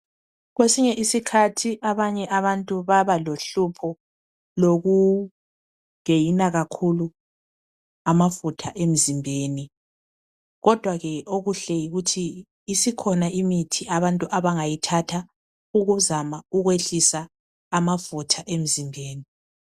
Kwesinye isikhathi abanye abantu baba lohlupho lokugeyina kakhulu amafutha emzimbeni. Kodwa ke okuhle yikuthi, isikhona imithi abantu abangayithatha ukuzama ukwehlisa amafutha emzimbeni.